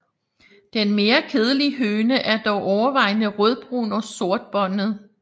Den mere kedelige høne er dog overvejende rødbrun og sortbåndet